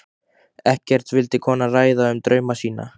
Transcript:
Ekkert vildi konan ræða um drauma sína.